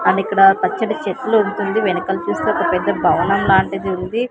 And ఇక్కడ పచ్చటి చెట్లు ఉంటుంది వెనకల చూస్తే ఒక పెద్ద భవనం లాంటిది ఉంది.